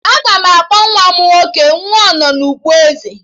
Aga m akpọ nwa m nwoke 'Nwanọnukpo Eze'